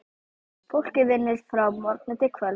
Fólkið vinnur frá morgni til kvölds.